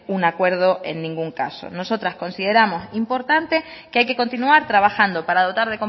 un acuerdo en ningún caso nosotras consideramos importante que hay que continuar trabajando para dotar